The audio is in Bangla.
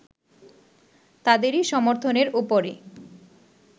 তাদেরই সমর্থনের ওপরে